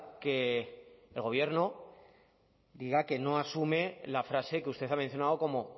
que el gobierno diga que no asume la frase que usted ha mencionado como